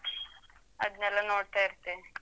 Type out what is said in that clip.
ಅದ್ನೆಲ್ಲ ನೋಡ್ತಾ ಇರ್ತೀನೆ.